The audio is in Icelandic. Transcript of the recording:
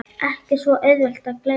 Ekki svo auðvelt að gleyma